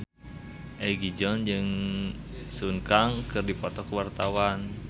Egi John jeung Sun Kang keur dipoto ku wartawan